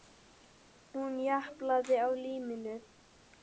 Hún japlaði á líminu.